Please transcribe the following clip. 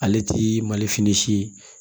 Ale ti mali fini si ye